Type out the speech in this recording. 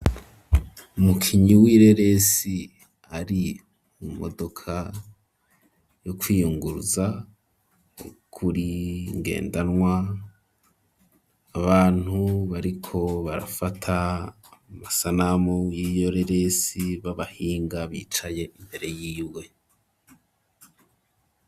umukinyi w'ireresi, ari mu modoka yo kwiyunguruza, kuringendanwa ,abantu bariko barafata masanamu, y'iyo reresi b'abahinga, bicaye imbere y'iwe.